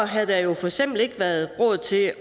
havde der jo for eksempel ikke været råd til at